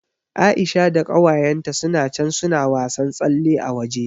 Aisha da ƙawayenta suna can suna wasan tsalle a waje.